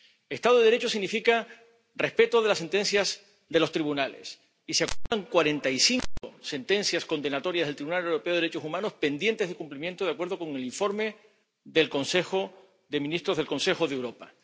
Estado de Derecho significa respeto de las sentencias de los tribunales, y se acumulan cuarenta y cinco sentencias condenatorias del Tribunal Europeo de Derechos Humanos pendientes de cumplimiento de acuerdo con el informe del Comité de Ministros del Consejo de Europa.